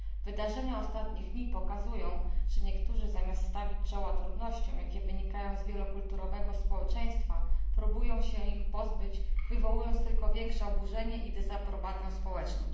Wydarzenia ostatnich dni pokazują, że niektórzy zamiast stawić czoła trudnościom, jakie wynikają z wielokulturowego społeczeństwa, próbują się ich pozbyć, wywołując tylko większe oburzenie i dezaprobatę społeczną.